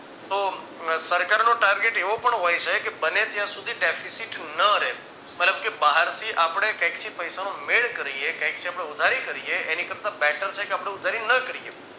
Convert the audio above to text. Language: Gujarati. તો સરકારનો target એવો પણ હોય છે કે બને ત્યાં સુધી deficit ન રહે મતલબ કે બહારથી આપણે કંઇકથી પૈસા નો મેળ કરીયે કાંઈકથી આપણે ઉધારી કરીએ એની કરતા better છે કે આપણે ઉધારી ન કરીએ